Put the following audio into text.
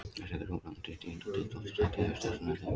Þessi þrjú lönd eru í tíunda til tólfta sæti yfir stærstu lönd heims.